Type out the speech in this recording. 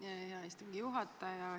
Aitäh, hea istungi juhataja!